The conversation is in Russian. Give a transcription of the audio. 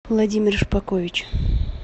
владимир шпакович